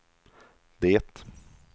det